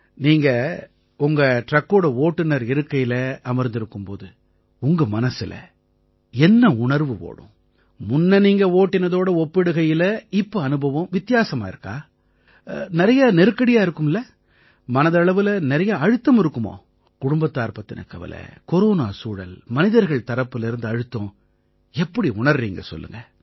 நீங்க உங்க ட்ரக்கோட ஓட்டுநர் இருக்கையில அமர்ந்திருக்கும் போது உங்க மனசுல என்ன உணர்வு ஓடும் முன்ன நீங்க ஓட்டினதோட ஒப்பிடுகையில இப்ப அனுபவம் வித்தியாசமா இருக்கா நிறைய நெருக்கடியா இருக்குமில்லை மனதளவுல நிறைய அழுத்தம் இருக்குமோ குடும்பத்தார் பத்தின கவலை கொரோனா சூழல் மனிதர்கள் தரப்பிலேர்ந்து அழுத்தம் எப்படி உணர்றீங்க சொல்லுங்க